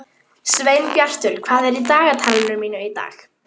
Sveinbjartur, hvað er í dagatalinu í dag?